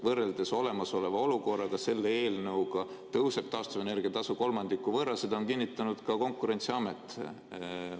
Võrreldes olemasoleva olukorraga tõuseb selle eelnõu järgi taastuvenergia tasu kolmandiku võrra, seda on kinnitanud ka Konkurentsiamet.